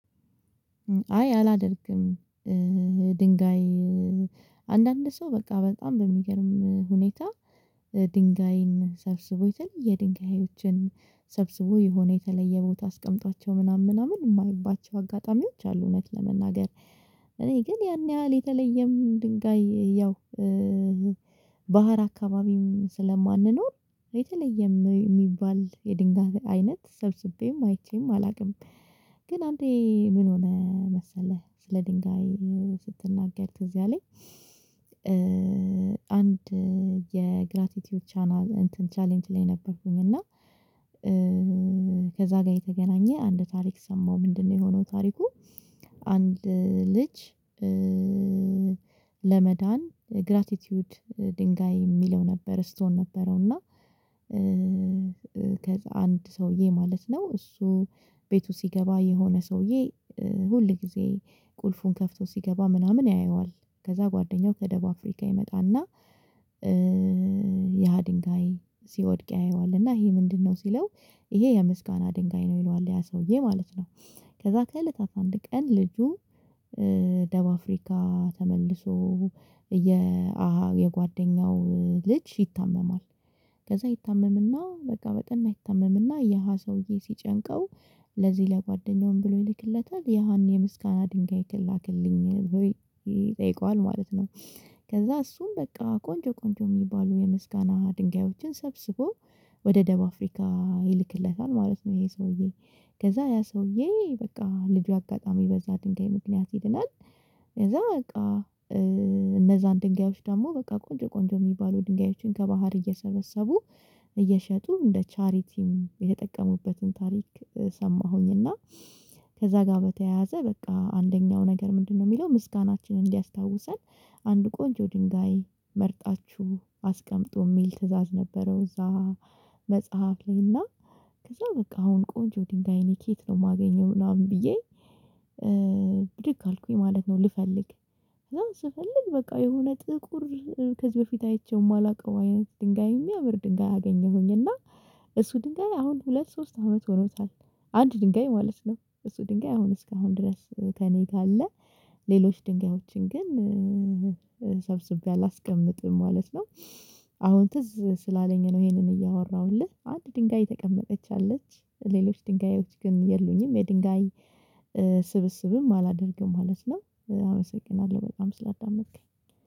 አይ አላደርግም ድንጋይ አንዳንድ ሰው በቃ በጣም በሚገርም ሁኔታ ድንጋይን ሰብስቦ የተለየ ድንጋዮችን ሰብስቦ የሆነ የተለየ ቦታ አስቀምጧቸው ምናምን ምናምን የማይባቸው አጋጣሚዎች አሉ። እውነት ለመናገር እኔ ግን ያን ያህል የተለየም ድንጋይ ያው ባህር አካባቢም ስለማንኖር የተለየም የሚባል የድንጋይ አይነት ሰብስቤም አይቼም አላውቅም። ግን አንዴ ምን ሆነ መሰለህ ስለ ድንጋይ ስትናገር ትዝ የለኝ። አንድ የግራቲቲዩድ ቻናል ቻሌንጅ ላይ ነበርኩኝ እና ከዛ ጋር የተገናኘ አንድ ታሪክ ሰማሁ ምንድነው የሆነው ታሪኩ? አንድ ልጅ ለመዳን ግራቲቲዩድ ድንጋይ የሚለው ነበር ስቶን ነበረው እና። አንድ ሰውዬ ማለት ነው እሱ ቤቱ ሲገባ የሆነ ሰውዬ ሁል ጊዜ ቁልፉን ከፍቶ ሲገባ ምናምን ያየዋል። ከዛ ጓደኛው ከደቡብ አፍሪካ ይመጣና ያ ድንጋይ ሲወድቅ ያየዋል እና ይሄ ምንድነው ሲለው ይሄ የምስጋና ድንጋይ ነው ይለዋል ያ ሰውዬ ማለት ነው። ከዛ ከእለታት አንድ ቀን ልጁ ደቡብ አፍሪካ ተመልሶ የጓደኛው ልጅ ይታመማል። ከዛ ይታመምና በቃ በጠነ ይታመምና የሃ ሰውዬ ሲጨንቀው ለዚህ ለጓደኛውም ብሎ ይልክለታል ያን የምስጋና ድንጋይ ላክልኝ ብሎ ይጠይቀዋል ማለት ነው። ከዛ እሱም በቃ ቆንጆ ቆንጆ የሚባሉ የምስጋና ድንጋዮችን ሰብስቦ ወደ ደቡብ አፍሪካ ይልክለታል ማለት ነው። ይሄ ሰውዬ ከዛ ያ ሰውዬ በቃ ልጁ አጋጣሚ በዛ ድንጋይ ምክንያት ይድናል። ከዛ በቃ እነዚያን ድንጋዮች ደግሞ በቃ ቆንጆ ቆንጆ የሚባሉ ድንጋዮችን ከባህር እየሰበሰቡ እየሸጡ እንደ ቻሪቲም የተጠቀሙበትን ታሪክ ሰማሁኝ። እና ከዛ ጋር በተያያዘ በቃ አንደኛው ነገር ምንድነው የሚለው ምስጋናችንን እንዲያስታውሰን አንድ ቆንጆ ድንጋይ መርጣችሁ አስቀምጡ የሚል ትእዛዝ ነበረው። እዛ መጽሐፍ ላይ እና ከዛ በቃ አሁን ቆንጆ ድንጋይ እኔ ከየት ነው የማገኘው ምናምን ብዬ። ብድግ አልኩኝ ማለት ነው ልፈልግ ስፈልግ በቃ የሆነ ጥቁር ከዚህ በፊት አይቼው የማላውቀው አይነት ድንጋይ የሚያምር ድንጋይ አገኘሁኝ። እና እሱ ድንጋይ አሁን ሁለት ሶስት አመት ሆኖታል። አንድ ድንጋይ ማለት ነው እሱ ድንጋይ አሁን እስካሁን ድረስ ከእኔ ጋር ሌሎች ድንጋዮችን ግን ሰብስቤ አላስቀምጥም ማለት ነው። አሁን ትዝ ስላለኝ ነው ይሄንን እያወራሁልህ አንድ ድንጋይ ነተቀመጠች አለች። ሌሎች ድንጋዮች ግን የሉኝም የድንጋይ ስብስብም አላደርግም ማለት ነው። አመሰግናለሁ በጣም ስላዳመጥኸኝ